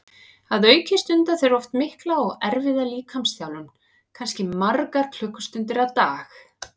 Að auki stunda þeir oft mikla og erfiða líkamsþjálfun, kannski margar klukkustundir á dag.